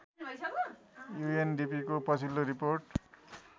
युएनडिपिको पछिल्लो रिपोर्ट